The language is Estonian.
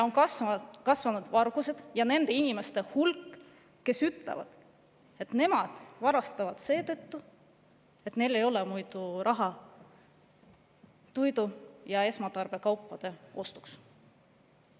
Kasvanud on varguste ja nende inimeste hulk, kes ütlevad, et nad varastavad seetõttu, et neil ei ole muidu raha toidu ja esmatarbekaupade ostmiseks.